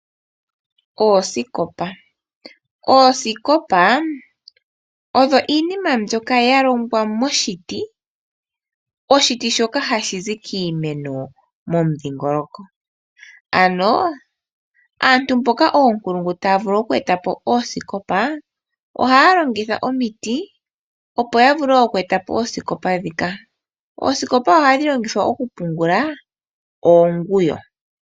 Oosikopa odho iinima mbyoka yalongwa koshiiti . Oshiti shoka ohashi zi kiimeno momundhingoloko . Aantu mboka oonkulungu taya vulu okweetapo oosikopa ohaya longitha omiti opo yavule okweetapo oosikopa ndhika. Oosikopa ohadhi longithwa okupungula oonguyo.